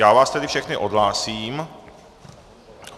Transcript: Já vás tedy všechny odhlásím.